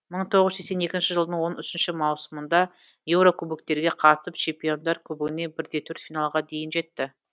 мың тоғыз жүз сексент екінші жылдың маусымында еурокубоктерге қатысып он үшінші чемпиондар кубогінде бір де төрт финалға дейін жетті